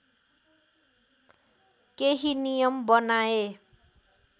केही नियम बनाए